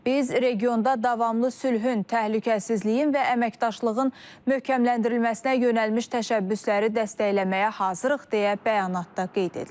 Biz regionda davamlı sülhün, təhlükəsizliyin və əməkdaşlığın möhkəmləndirilməsinə yönəlmiş təşəbbüsləri dəstəkləməyə hazırıq deyə bəyanatda qeyd edilib.